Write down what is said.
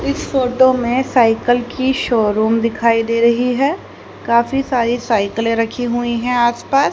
इस फोटो में साइकिल की शोरूम दिखाई दे रही है काफी सारी साइकिल रखी हुई है आसपास--